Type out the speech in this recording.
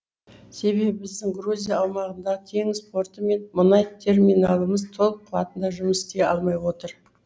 себебі біздің грузия аумағындағы теңіз порты мен мұнай терминалымыз толық қуатында жұмыс істей алмай отыр